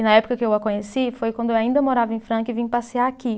E na época que eu a conheci, foi quando eu ainda morava em Franca e vim passear aqui.